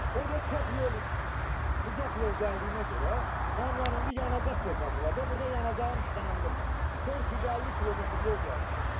O da çox yol, uzaq yol gəldiyimə görə, mənim yəni indi yanacaq söhbəti var da, burda yanacağım işlənilib, 450 kilometr yol gəlmişəm.